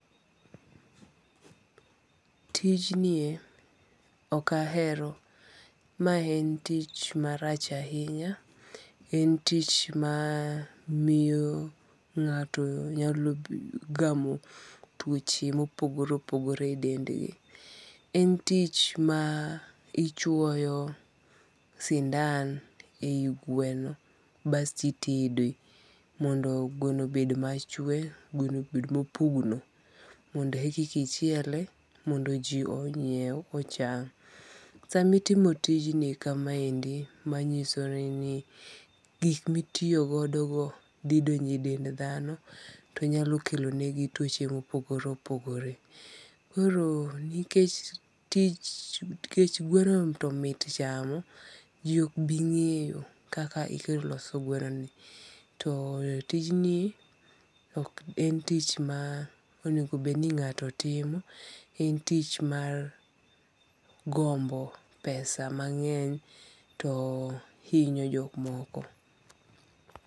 Tinjnie ok ahero, mae en tich marach ahinya, en tich mamiyo nga'to nyalo gamo twoche mopogore opogore e dendgi, en tich mar ichuoyo sindan e yi gweno basto itede mondo gweno obed machwe gweno bed ma opugno mondo e kika ichiele mondo ji onyiew ocham , sama itimo tijni kamaendi manyisoreni gik mitiyogoni thi donjo e dend thano to nyalo kelonegi twoche ma opogore opogore, koro nikech tich nikech gweno to mit chamo, ji ok bi nge'yo kaka ikelo loso gwenoni, to tijni ok en tich ma onegobed ni nga'to timo en tich mar gombo pesa mange'ny to hinyo jok moko.